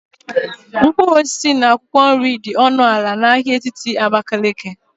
mkpụrụ osisi na akwụkwọ nri dị ọnụ ala na ahịa etiti Abakaliki